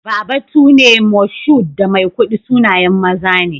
Babatune, Moshood, da Maikudi sunayen maza ne.